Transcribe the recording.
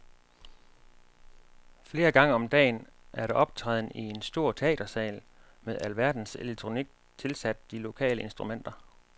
Flere gange om dagen er der optræden i en stor teatersal med alverdens elektronik tilsat de lokale instrumenter.